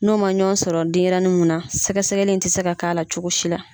N'o ma ɲɔn sɔrɔ denyɛrɛnin mun na, sɛgɛsɛgɛli in ti se ka k'a la cogo si la.